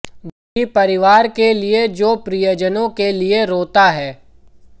दुखी परिवार के लिए जो प्रियजनों के लिए रोता है